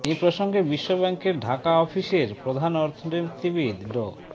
এ প্রসঙ্গে বিশ্ব ব্যাংকের ঢাকা অফিসের প্রধান অর্থনীতিবিদ ড